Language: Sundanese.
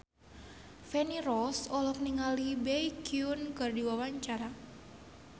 Feni Rose olohok ningali Baekhyun keur diwawancara